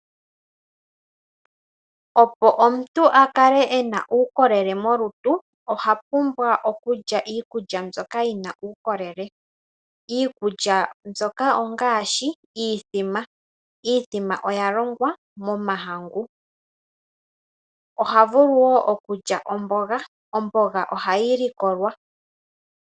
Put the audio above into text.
Opo omuntu a kale ena uukokele molutu ohapumbwa okulya iikulya mbyoka yina uukolele. Iikulya mbyoka ongaashi iimbombo, iimbombo oya longwa momahangu. Ohavulu wo okulya omboga, omboga ohayi likolwa.